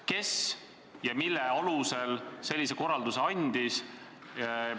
Kes ja mille alusel sellise korralduse andis?